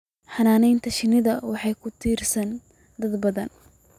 Xannaanada shinnida waxaa ku tiirsan dad badan